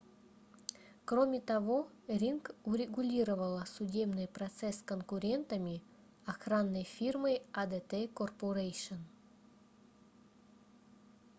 кроме того ring урегулировала судебный процесс с конкурентами охранной фирмой adt corporation